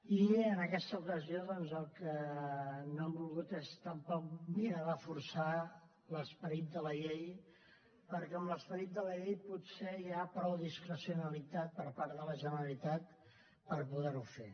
i en aquesta ocasió el que no hem volgut és tampoc mirar de forçar l’esperit de la llei perquè en l’esperit de la llei potser hi ha prou discrecionalitat per part de la generalitat per poder ho fer